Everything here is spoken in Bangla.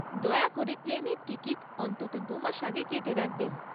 দয়া করে প্লেনের টিকিট অন্তত দু মাস আগে কেটে রাখবেন।